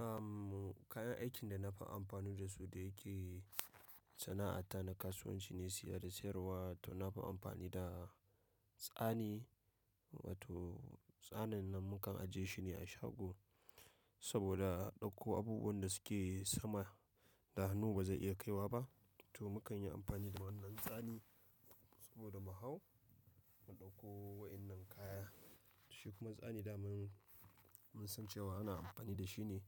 Am kayan aikin da na fi amfani da su da yake sana'ata na kasuwanci ne siya da siyarwa to na fi amfani da tsani wato tsanin nan mukan ajiye shi ne a shago saboda a ɗauko abubuwan da suke sama da hannu ba zai iya kaiwa ba to mukan yi amfani da wannan tsani saboda mu hau mu ɗauko wannan kaya. Shi kuma tsani da mun, mun san cewa ana amfani da shi ne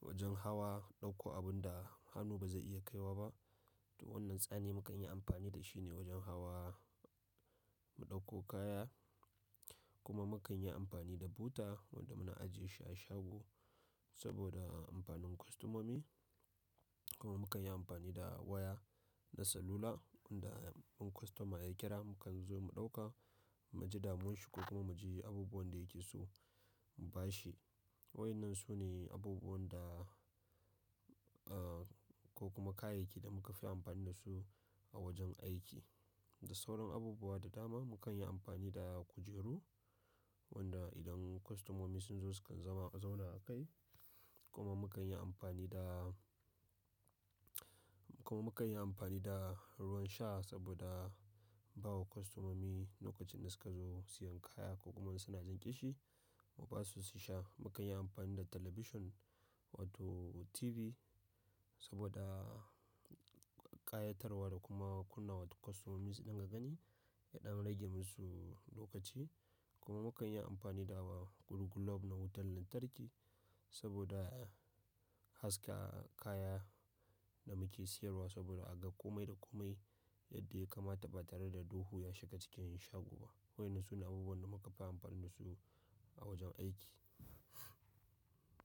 wajen hawa ɗauko abun da hannu ba zai iya kaiwa ba to wannan tsani mukan yi amfani da shi ne wajen hawa mu ɗauko kaya kuma mukan yi amfani da buta wanda muna ajiyesu a shago saboda amfanin kostomomi. Kuma mukan yi amfani da waya na salula wanda in kostoma ya kira mukan zo mu ɗauka, mu je damuwan shi ko kuma mu je abubuwan da yake so mu ba shi. Waɗannan su ne abubuwan da aa ko kuma kayayyaki da muka fi amfani da su a wajen aiki. Da sauran abubuwa da dama mukan yi amfani da kujeru wanda idan kostomomi sun zo sukan zama zauna a kai kuma mukan yi amfani da, kuma mukan yi amfani da ruwan sha saboda bawa kostomomi lokacin da suka zo siyan kaya ko kuma suna jin ƙishi ma basu su sha. Mukan yi amfani da talabishin wato TV saboda ƙayatarwa da kuma kunna wa kostomomi idan ka gani yana rage musu lokaci. Kuma mukan yi amfani da wa gulu glob na wutan lantarki saboda haska kaya da muke siyarwa saboda a ga komai da komai yadda ya kamata ba tare da duhu ya shiga cikin shago ba. Waɗnnan su ne abubuwan da muka fi amfani da su a wajen aiki.